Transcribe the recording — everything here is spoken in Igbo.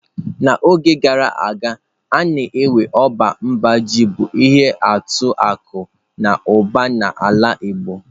N'oge gara aga nnukwu ọba mba ji bụ ihe atụ akụ na ụba na ala igbo.